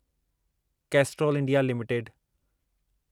Castrol India limited